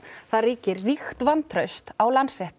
það ríkir ríkt vantraust á